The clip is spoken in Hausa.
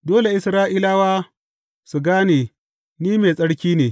Dole Isra’ilawa su gane Ni mai tsarki ne.